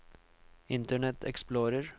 internet explorer